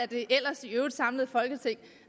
det ellers i øvrigt samlede folketing